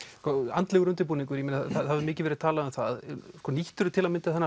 andlegur undirbúningur það hefur mikið verið talað um það nýttir þú til að mynda þennan